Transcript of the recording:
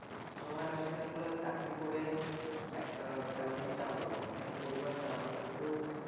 এইসময় আসলে চাকরি করে একটা পরিবার চালানো কিন্তু মানুষ হিমসিম খেয়ে যাচ্ছে